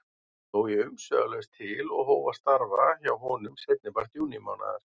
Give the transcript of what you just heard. Sló ég umsvifalaust til og hóf að starfa hjá honum seinnipart júnímánaðar.